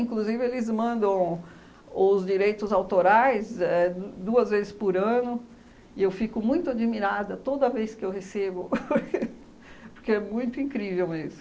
eles mandam os direitos autorais éh du duas vezes por ano e eu fico muito admirada toda vez que eu recebo, porque é muito incrível mesmo.